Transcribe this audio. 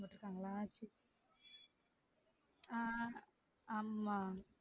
போட்டுருக்காங்களா? சேரி ஆஹ் ஆமா